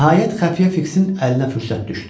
Nəhayət xəfiyə Fiksin əlinə fürsət düşdü.